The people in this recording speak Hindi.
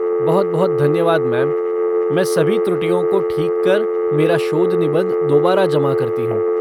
बहुत बहुत धन्यवाद मैम, मैं सभी त्रुटियों को ठीक कर मेरा शोध निबंध दोबारा जमा करती हूँ।